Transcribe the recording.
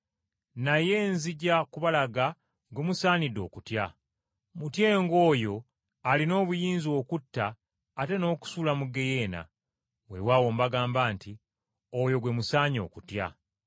Naye nzija kubalaga gwe musaanidde okutya. Mutyenga oyo alina obuyinza okutta ate n’okusuula mu ggeyeena. Weewaawo mbagamba nti oyo gwe musaanye okutyanga.